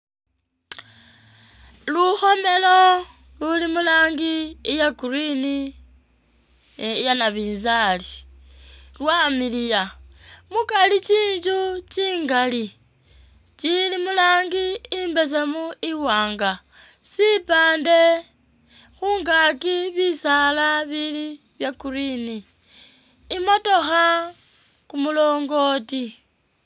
Lukhomelo luli mu'rangi iya green iya nabinzali lwamiliiya mukari tsinzu tsingaali tsili murangi imbeseemu, iwaanga sipaande khungaaki bisaala bili bya green imotokha, kumulongooti.